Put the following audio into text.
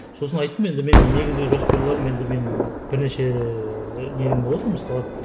сосын айттым енді менің негізгі жоспарларым енді мен бірнеше